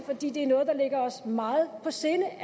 er noget der ligger os meget på sinde